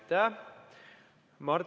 Aitäh!